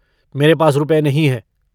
मेरे पास रुपए नहीं हैं।